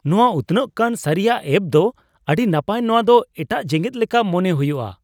ᱱᱚᱶᱟ ᱩᱛᱱᱟᱹᱜ ᱠᱟᱱ ᱥᱟᱹᱨᱤᱭᱟᱜ ᱮᱹᱯ ᱫᱚ ᱟᱹᱰᱤ ᱱᱟᱯᱟᱭ ᱾ᱱᱚᱶᱟ ᱫᱚ ᱮᱴᱟᱜ ᱡᱮᱜᱮᱫ ᱞᱮᱠᱟ ᱢᱚᱱᱮ ᱦᱩᱭᱩᱜᱼᱟ ᱾